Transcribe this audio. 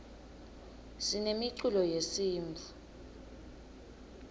sinemiculo yesintfu